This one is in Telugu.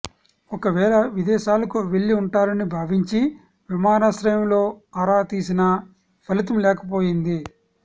ఒకవేళ విదేశాలకు వెళ్లి ఉంటారని భావించి విమానాశ్రయంలో ఆరా తీసినా ఫలితం లేకపోయింది